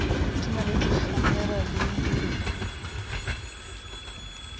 di na le dikhamera le